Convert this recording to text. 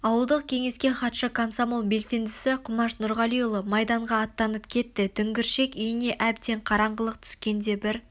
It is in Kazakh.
ауылдық кеңеске хатшы комсомол белсендісі құмаш нұрғалиұлы майданға аттанып кетті дүңгіршек үйіне әбден қаранғылық түскенде бір